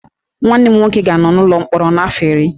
Nwanne m nwoke ga-anọ n'ụlọ mkpọrọ afọ iri